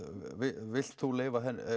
vilt þú leyfa